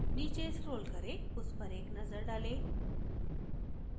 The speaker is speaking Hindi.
नीचे स्क्रोल करें उस पर एक नजर डालें